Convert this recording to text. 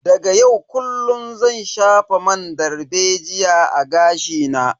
Daga yau kullun zan shafa man dalbejiya a gashi na.